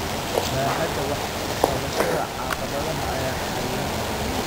Baaxadda wax ka qabashada caqabadaha ayaa xaddidan.